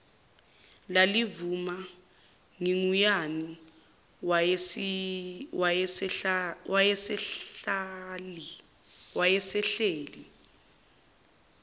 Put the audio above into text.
lalivulwa ngugiyani wayesahleli